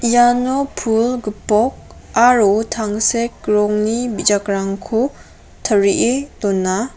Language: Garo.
iano pul gipok aro tangsek rongni bijakrangko tarie dona.